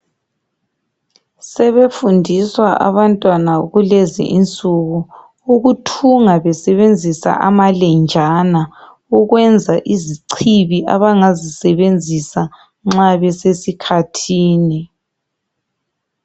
Sebefundiswa abantwana kulezi insuku ukuthunga besebenzisa amalenjana ukwenza izicibi abangazisebenzisa nxa besesikhathini.